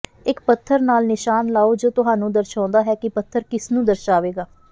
ਇਕ ਪੱਥਰ ਨਾਲ ਨਿਸ਼ਾਨ ਲਾਓ ਜੋ ਤੁਹਾਨੂੰ ਦਰਸਾਉਂਦਾ ਹੈ ਕਿ ਪੱਥਰ ਕਿਸ ਨੂੰ ਦਰਸਾਵੇਗਾ